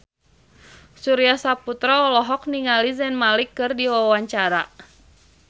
Surya Saputra olohok ningali Maher Zein keur diwawancara